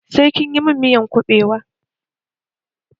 Sai kinyi mun miyan kubewa!